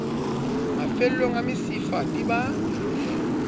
mafellong a mesifa di ba